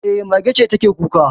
E, mage ce take kuka